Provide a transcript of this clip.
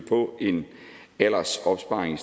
på en aldersopsparing